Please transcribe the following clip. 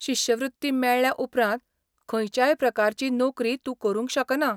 शिश्यवृत्ती मेळ्ळ्या उपरांत खंयच्याय प्रकारची नोकरी तूं करूंक शकना.